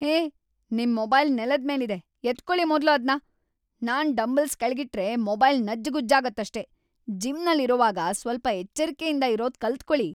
ಹೇ, ನಿಮ್ ಮೊಬೈಲ್‌ ನೆಲದ್ಮೇಲಿದೆ, ಎತ್ಕೊಳಿ ಮೊದ್ಲು ಅದ್ನ..‌ ನಾನ್ ಡಂಬೆಲ್ಸ್ ಕೆಳಗಿಟ್ರೆ ಮೊಬೈಲ್ ನಜ್ಜುಗುಜ್ಜಾಗತ್ತಷ್ಟೇ.. ಜಿಮ್ನಲ್ಲಿರೋವಾಗ ಸ್ವಲ್ಪ ಎಚ್ಚರ್ಕೆಯಿಂದಿರೋದ್‌ ಕಲ್ತ್‌ಕೊಳಿ.